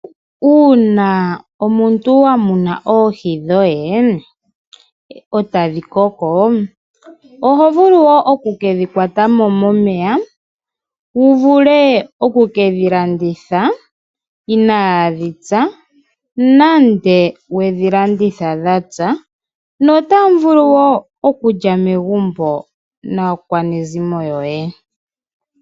Uuna omuntu wa muna oohi dhohe ,etadhi koko ,oho vulu wo oku kedhi kwatamo momeya wu vule oku kedhi landitha inadhi mpya nenge wudhi landithe dhampya notavulu wo okulya megumbo naakwanezimo yoye.